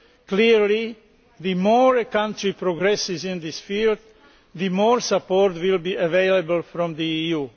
Clearly the more a country progresses in this field, the more support will be available from the EU.